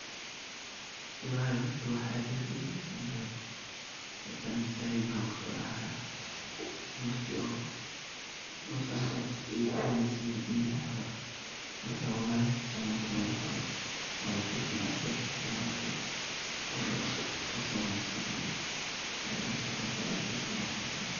Wlhi horta wax aad iyo aad uwanagsan waye. Horta aniga maskaxdeyda waxa kusodacaya marki oo Los Angeles ey guwaneyse ladiminaye camal marka wlhi horta siwanagsan wye walabufinaya berta sidan uarko eeh qorsho wanagsan wye inshaallah mustaqbalka berteyda san wan kadigani dona